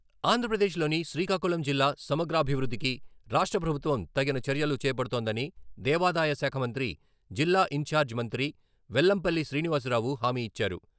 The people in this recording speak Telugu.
ఆంధ్రప్రదేశ్లోని శ్రీకాకుళం జిల్లా సమగ్రాభివృద్ధికి రాష్ట్రప్రభుత్వం తగిన చర్యలు చేపడుతోందని దేవాదాయ శాఖ మంత్రి జిల్లా ఇన్ఛార్జి మంత్రి వెల్లంపల్లి శ్రీనివాసరావు హామీ ఇచ్చారు.